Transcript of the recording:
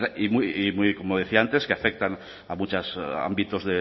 y como decía antes que afectan a muchos ámbitos